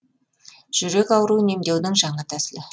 жүрек ауруын емдеудің жаңа тәсілі